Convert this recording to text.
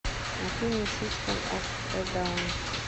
афина систем оф э даун